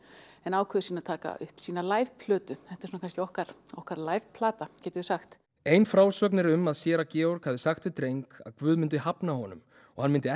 en ákveður síðan að taka upp sína plötu þetta er kannski okkar okkar plata getum við sagt ein frásögn er um að séra Georg hafi sagt við dreng að guð myndi hafna honum og hann myndi